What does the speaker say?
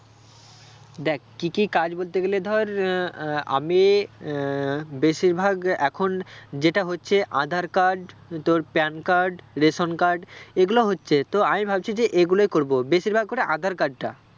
দেখ কি কি কাজ বলতে গেলে ধর আহ আহ আমি আহ বেশির ভাগ এখন যেটা হচ্ছে আধার card তোর প্যান card ration card এগুলো হচ্ছে তো আমি ভাবছি যে এগুলোই করবো বেশির ভাগ করে আঁধার card টা